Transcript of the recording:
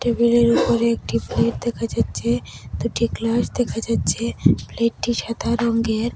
টেবিলের উপরে একটি প্লেট দেখা যাচ্ছে দুটি গ্লাস দেখা যাচ্ছে প্লেটটি সাদা রঙ্গের।